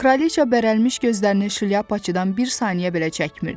Kraliça bərəlmiş gözlərini şlyapaçıdan bir saniyə belə çəkmirdi.